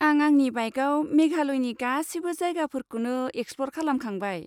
आं आंनि बाइकआव मेघालयनि गासिबो जायगाफोरखौनो एक्सप्ल'र खालामखांबाय।